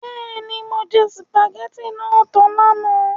Bẹ́ẹ̀ni, mo jẹ sùpàgẹ́tì náà tan lánàá.